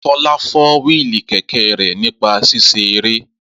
Fọlá fọ́ wíìlì kẹ̀kẹ́ rẹ̀ nípa ṣíṣe eré